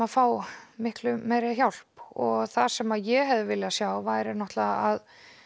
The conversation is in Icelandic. fá miklu meiri hjálp það sem ég hefði viljað sjá væri náttúrulega